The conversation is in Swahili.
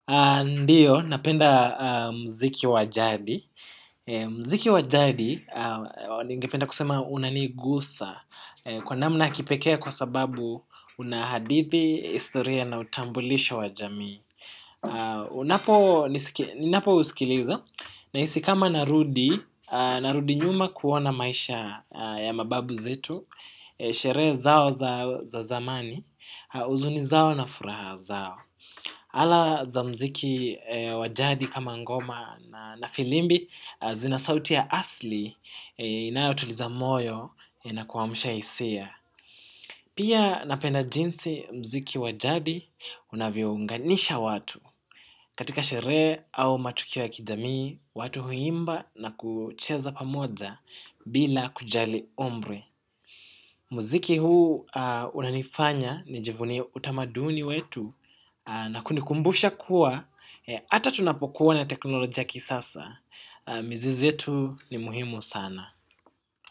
Ndiyo, napenda muziki wa jadi muziki wa jadi ningependa kusema unanigusa kwa namna ya kipekee kwa sababu una hadithi historia na utambulisho wa jamii ninapousikiliza nahisi kama narudi nyuma kuona maisha ya mababu zetu. Sherehe zao za zamani, huzuni zao na furaha zao ala za muziki wa jadi kama ngoma na filimbi zina sauti ya asili inayotuliza moyo inakuamshia hisia. Pia napenda jinsi muziki wa jadi unavyounganisha watu katika sherehe au matukio ya kijamii watu huimba na kucheza pamoja bila kujali umri. Muziki huu unanifanya nijivunie utamaduni wetu na kunikumbusha kuwa, hata tunapokuwa na teknolojia ya kisasa, mizizi yetu ni muhimu sana.